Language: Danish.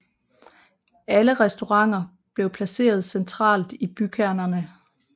Alle restauranter blev placeret centralt i bykernerne